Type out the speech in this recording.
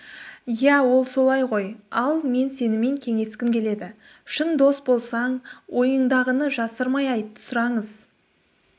иә ол солай ғой ал мен сенімен кеңескім келеді шын дос болсаң ойыңдағыны жасырмай айт сұраңыз